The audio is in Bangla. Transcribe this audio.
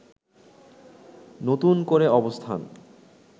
নতুন করে অবস্থান